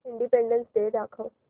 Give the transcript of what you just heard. independence day दाखव